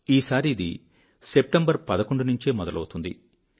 ఈసారి ఇది సెప్టెంబర్ 11 నుండే మొదలవుతుంది